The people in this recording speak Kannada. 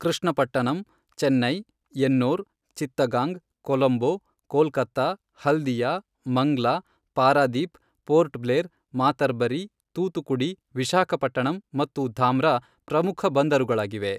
ಕೃಷ್ಣಪಟ್ಟಣಂ, ಚೆನ್ನೈ, ಎನ್ನೋರ್, ಚಿತ್ತಗಾಂಗ್, ಕೊಲಂಬೊ, ಕೋಲ್ಕತ್ತಾ ಹಲ್ದಿಯಾ, ಮಂಗ್ಲಾ, ಪಾರಾದೀಪ್, ಪೋರ್ಟ್ ಬ್ಲೇರ್, ಮಾತಾರ್ಬರಿ, ತೂತುಕುಡಿ, ವಿಶಾಖಪಟ್ಟಣಂ ಮತ್ತು ಧಾಮ್ರಾ ಪ್ರಮುಖ ಬಂದರುಗಳಾಗಿವೆ.